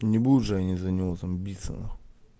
не будут же они за него там биться нахуй